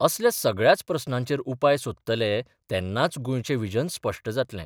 असल्या सगळ्याच प्रस्नांचेर उपाय सोदतले तेन्नाच गोंयचें व्हिजन स्पश्ट जातलें.